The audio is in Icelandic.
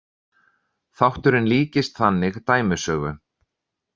Þátturinn líkist þannig dæmisögu.